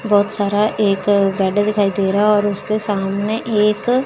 बहुत सारा एक गार्डन दिखाई दे रहा है और उसके सामने एक--